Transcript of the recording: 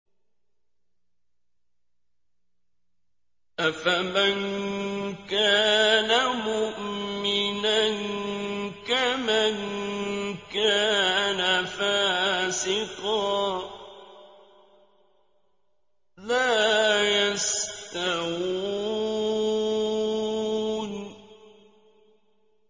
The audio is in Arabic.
أَفَمَن كَانَ مُؤْمِنًا كَمَن كَانَ فَاسِقًا ۚ لَّا يَسْتَوُونَ